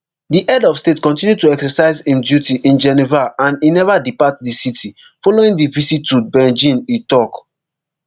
di head of state kontinu to exercise im duties in geneva and e neva depart di city following di visit to beijing e tok